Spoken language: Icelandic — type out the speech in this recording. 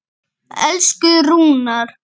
Elsku Rúnar.